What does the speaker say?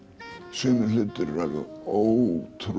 sumir hlutir eru alveg ótrúlega